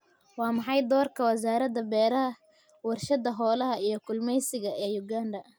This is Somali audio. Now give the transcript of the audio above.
Waa maxay doorka Wasaaradda Beeraha , Warshada Xoolaha iyo Kalluumeysiga ee Uganda?